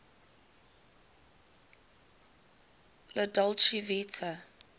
la dolce vita